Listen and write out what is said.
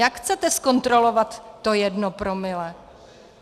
Jak chcete zkontrolovat to jedno promile?